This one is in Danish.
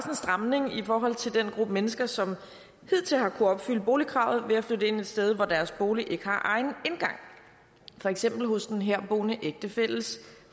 stramning i forhold til den gruppe mennesker som hidtil har kunnet opfylde boligkravet ved at flytte ind et sted hvor deres bolig ikke har egen indgang for eksempel hos den herboende ægtefælles